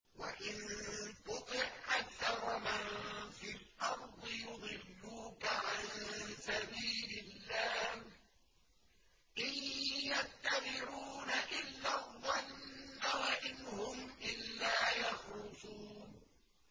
وَإِن تُطِعْ أَكْثَرَ مَن فِي الْأَرْضِ يُضِلُّوكَ عَن سَبِيلِ اللَّهِ ۚ إِن يَتَّبِعُونَ إِلَّا الظَّنَّ وَإِنْ هُمْ إِلَّا يَخْرُصُونَ